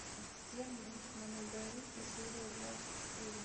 демоны да винчи серия двадцать четыре